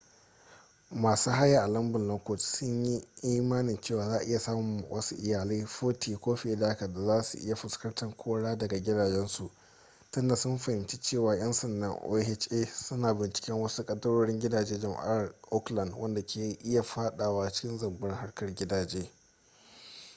masu haya a lambun lockwood sunyi imanin cewa za'a iya samun wasu iyalai 40 ko fiye da haka da zasu iya fuskantar kora daga gidajensu tunda sun fahimci cewa 'yan sanda oha suna binciken wasu kadarorin gidajen jama'ar oakland wadanda ka iya fadawa cikin zambar harkar gidaje